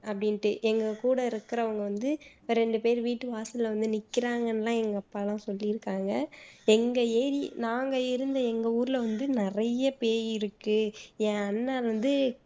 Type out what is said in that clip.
அப்படின்னுட்டு எங்க கூட இருக்குறவங்க வந்து இப்போ வீட்டு வாசல்ல வந்து நிக்குறாங்கன்ன்னு எல்லாம் எங்க அப்பா எல்லாம் சொல்லியிருக்காங்க எங்க ஏ நாங்க இருந்த எங்க ஊருல வந்து நிறைய பேய் இருக்கு என் அண்ணன் வந்து